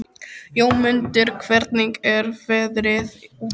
Jómundur, hvernig er veðrið úti?